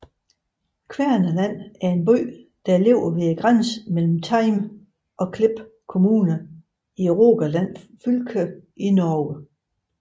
Kvernaland er en by der ligger ved grænsen mellem Time og Klepp kommuner i Rogaland fylke i Norge